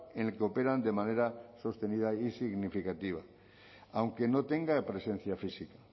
en el que operan de manera sostenida y significativa aunque no tenga presencia física